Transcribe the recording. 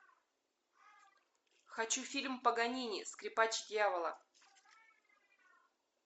хочу фильм паганини скрипач дьявола